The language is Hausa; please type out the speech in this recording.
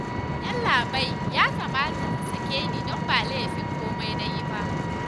Yallaɓai ya kamata ka sake ni don ba laifin komai na yi ba